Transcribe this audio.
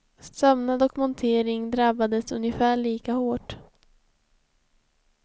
Sömnad och montering drabbades ungefär lika hårt.